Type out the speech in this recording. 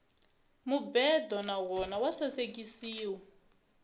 mubedo na wona wa sasekisiwa